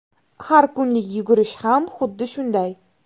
Har kunlik yugurish ham xuddi shunday.